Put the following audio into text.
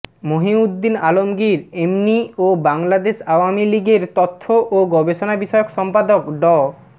মহীউদ্দীন আলমগীর এমনি ও বাংলাদেশ আওয়ামী লীগের তথ্য ও গবেষণা বিষয়ক সম্পাদক ড